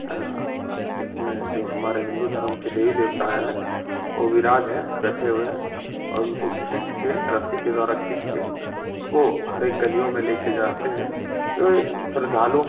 आह इसमें जो हमारे हिन्दू धर्म के देवी देवता हैं ओह विराज हैं। बैठे हुए हैं और उनको खींच के रस्सी के द्वारा खिंच के उसको हरेक गलियों में लेके जाते हैं। ए श्रद्धालुओं --